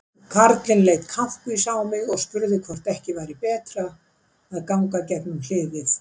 Karlinn leit kankvís á mig og spurði hvort ekki væri betra að ganga gegnum hliðið.